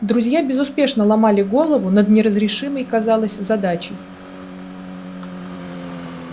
друзья безуспешно ломали голову над неразрешимой казалось задачей